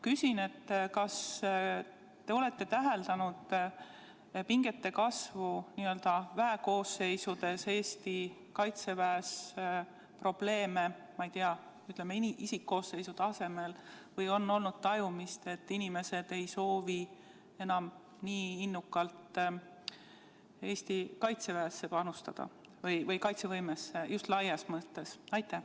Kas te olete täheldanud pingete kasvu n-ö väekoosseisudes, Eesti Kaitseväes, probleeme isikkoosseisu tasemel, või olete tajunud, et inimesed ei soovi enam nii innukalt panustada Eesti kaitsevõimesse just laias mõttes?